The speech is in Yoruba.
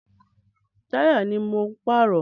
Táyà ni mò ń pààrọ̀.